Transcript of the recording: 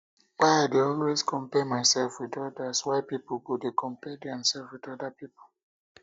why i dey always always compare myself with odas why pipo go dey compare their sef with oda pipo